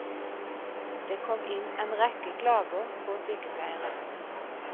Det kom inn en rekke klager på sykepleieren.